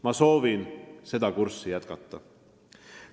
Ma soovin seda kurssi edaspidigi hoida.